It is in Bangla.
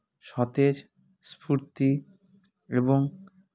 সতেজ স্ফুর্তি এবং